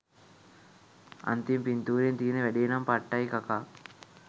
අන්තිම පින්තූරෙන් තියෙන වැඩේ නම් පට්ටයි කකා